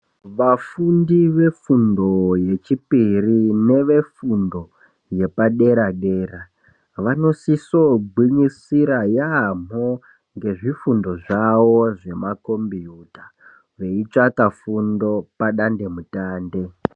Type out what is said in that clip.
Vafundi vefundo yechipiri nevefundo yepadera dera vanosiso gwinyisira yaamhoo nezvifundo zvavo zvemakombiyuta, veitsvaka fundo padande mutande.